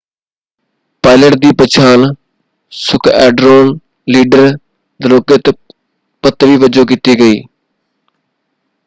Pilot ਦੀ ਪਛਾਣ squadron leader Dilokrit Pattavee ਵਜੋਂ ਕੀਤੀ ਗਈ।